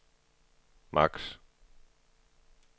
max